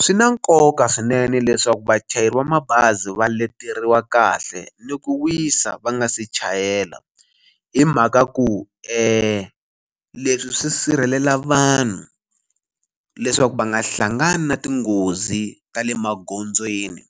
Swi na nkoka swinene leswaku vachayeri va mabazi va leteriwa kahle ni ku wisa va nga se chayela hi mhaka ku leswi swi sirhelela vanhu leswaku va nga hlangani na tinghozi ta le magondzweni